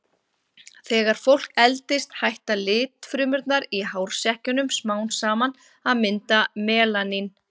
Þegar fólk eldist hætta litfrumurnar í hársekkjunum smám saman að mynda melanín.